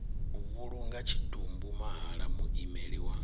vhulunga tshitumbu mahala muimeli wa